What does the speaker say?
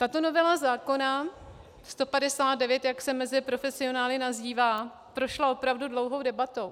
Tato novela zákona 159, jak se mezi profesionály nazývá, prošla opravdu dlouhou debatou.